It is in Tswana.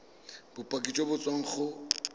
bopaki jo bo tswang go